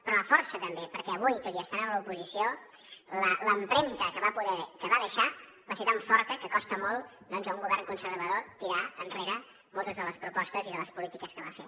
però la força també perquè avui tot i estar en l’oposició l’empremta que va deixar va ser tan forta que costa molt doncs a un govern conservador tirar enrere moltes de les propostes i de les polítiques que va fer